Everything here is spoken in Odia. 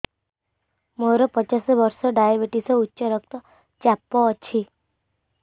ମୋର ପଚାଶ ବର୍ଷ ଡାଏବେଟିସ ଉଚ୍ଚ ରକ୍ତ ଚାପ ଅଛି